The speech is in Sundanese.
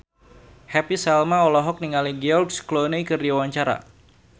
Happy Salma olohok ningali George Clooney keur diwawancara